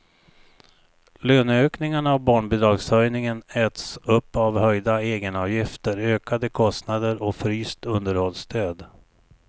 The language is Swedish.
Löneökningarna och barnbidragshöjningen äts upp av höjda egenavgifter, ökade kostnader och fryst underhållsstöd.